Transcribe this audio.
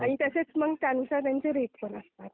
आणि त्याच्यात मग त्यांचे रेट कमी असतात.